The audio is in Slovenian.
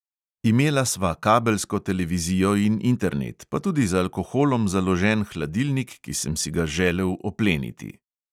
Imela sva kabelsko televizijo in internet, pa tudi z alkoholom založen hladilnik, ki sem si ga želel opleniti.